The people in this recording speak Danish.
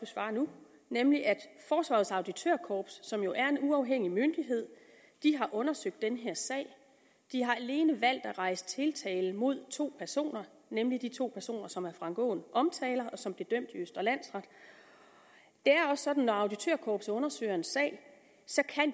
svare nu nemlig at forsvarets auditørkorps som jo er en uafhængig myndighed har undersøgt den her sag de har alene valgt at rejse tiltale mod to personer nemlig de to personer som herre frank aaen omtaler og som blev dømt i østre landsret det er også sådan når auditørkorpset undersøger en sag at